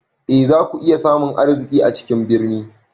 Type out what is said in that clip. E, za ku iya samun arziki a cikin birni.